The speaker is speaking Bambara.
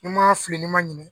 Ni n man fili ni n man ɲina